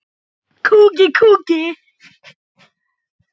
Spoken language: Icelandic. Þetta skilar sér vel.